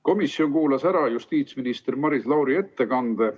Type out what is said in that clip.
Komisjon kuulas ära justiitsminister Maris Lauri ettekande.